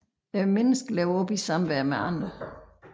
Mennesket liver op i samvær med andre